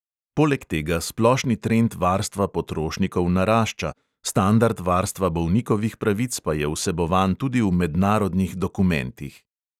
Poleg tega splošni trend varstva potrošnikov narašča, standard varstva bolnikovih pravic pa je vsebovan tudi v mednarodnih dokumentih.